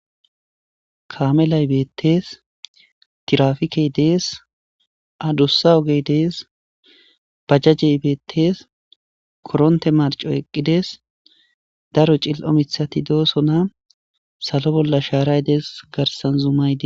kamelay beettees tirafikey dees adussa ogey dees bajjajey beettees koronte marco eqqides daro cil7o mithati doosona salo bolla shaaray dees garsan zumaydi